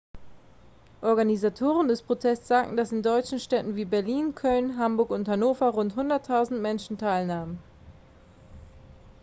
organisatoren des protests sagten dass in deutschen städten wie berlin köln hamburg und hannover rund 100.000 menschen teilnahmen